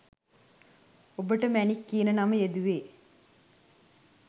ඔබට මැණික් කියන නම යෙදුවෙ?